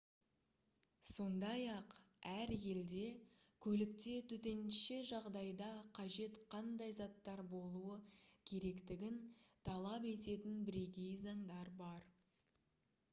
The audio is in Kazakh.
сондай-ақ әр елде көлікте төтенше жағдайда қажет қандай заттар болуы керектігін талап ететін бірегей заңдар бар